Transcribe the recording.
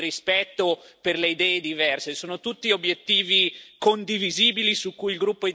Sono tutti obiettivi condivisibili su cui il gruppo Identità e democrazia coopererà.